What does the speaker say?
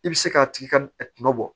I bɛ se k'a tigi ka kuma bɔ